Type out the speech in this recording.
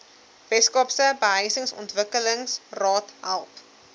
weskaapse behuisingsontwikkelingsraad help